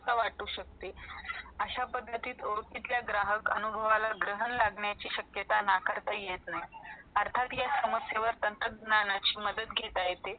असा वाटू शकते अशा पद्धतीत ओरखलीत ग्राहक अनुभवला ग्रहण लागण्याची शक्यता ना करता येत नाही अर्थात या समसयवर तंतज्ञानची मदत घेण्या येते